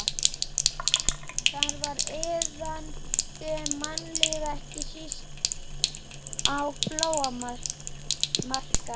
Þar var iðandi mannlíf, ekki síst á flóamarkaðnum.